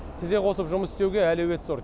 тізе қосып жұмыс істеуге әлеует зор